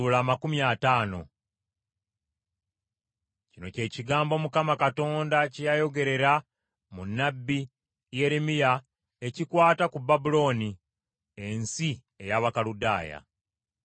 Kino kye kigambo Mukama Katonda kye yayogerera mu nnabbi Yeremiya ekikwata ku Babulooni n’ensi ey’Abakaludaaya.